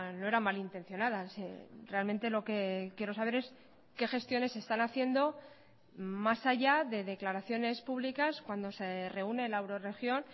no era malintencionada realmente lo que quiero saber es qué gestiones se están haciendo más allá de declaraciones públicas cuando se reúne la eurorregión